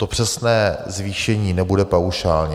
To přesné zvýšení nebude paušálně.